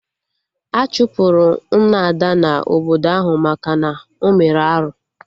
Achụpụrụ Nna Ada na obodo ahụ maka na ọ mere arụ